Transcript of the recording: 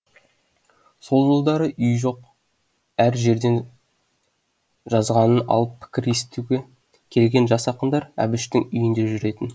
сол жылдары үйі жоқ әр жерден жазғанын алып пікір естуге келген жас ақындар әбіштің үйінде жүретін